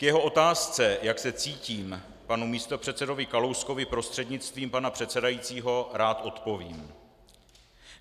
K jeho otázce, jak se cítím, panu místopředsedovi Kalouskovi prostřednictvím pana předsedajícího rád odpovím.